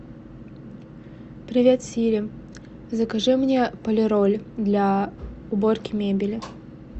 привет сири закажи мне полироль для уборки мебели